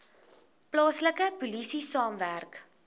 plaaslike polisie saamwerk